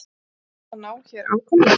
Svo hann á hér afkomendur?